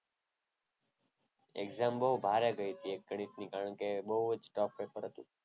exam બહુ ભારે ગઈ તી ગણિતની. કારણ કે બહુ જ tough પેપર હતું.